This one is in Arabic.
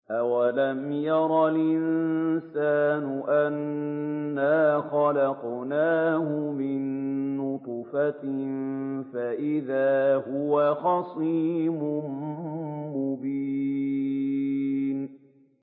أَوَلَمْ يَرَ الْإِنسَانُ أَنَّا خَلَقْنَاهُ مِن نُّطْفَةٍ فَإِذَا هُوَ خَصِيمٌ مُّبِينٌ